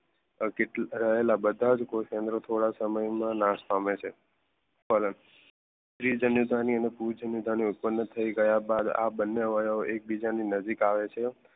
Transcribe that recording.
રહેલા બધા જ થોડા સમયમાં નાશ પામે છે પરત ત્રિજન્યતા ની અને પૂજનયતા ની ઉત્પન્ન થઈ ગયા બાદ આ બંને અવાય એકબીજાને નજીક આવે છે